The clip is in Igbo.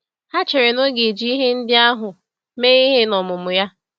Ha chere na ọ ga-eji ihe ndị ahụ mee ihe n’ọmụmụ ya.